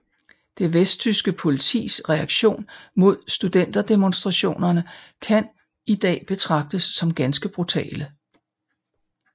Det vesttyske politiets reaktion mod studenterdemonstrationerne kan i dag betragtes som ganske brutale